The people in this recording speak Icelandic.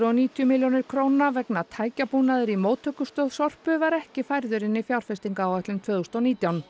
og nítján milljónir króna vegna tækjabúnaðar í móttökustöð Sorpu var ekki færður inn í fjárfestingaráætlun tvö þúsund og nítján